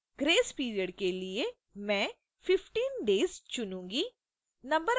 grace period के लिए मैं 15 day s चुनुंगी